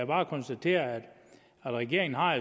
bare konstatere at regeringen har